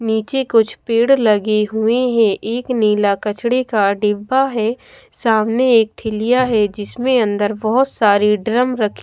नीचे कुछ पेड़ लगे हुए हैं एक नीला कचड़े का डिब्बा है सामने एक ठिल्लिया है जिसमें अंदर बहोत सारे ड्रम रखे--